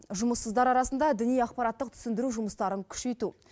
жұмыссыздар арасында діни ақпараттық түсіндіру жұмыстарын күшейту